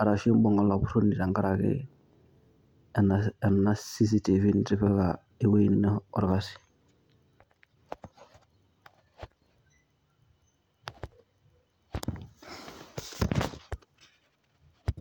arashu iimbung' olapuroni tengaraki ena CCTV nitipika eweji ino olkasi